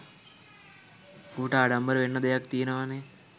ඌට ආඩම්බර වෙන්න දෙයක් තියනවනේ.